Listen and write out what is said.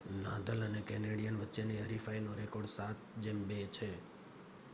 Nadal અને Canadian વચ્ચે ની હરીફાઈ નો રેકોર્ડ 7-2 છે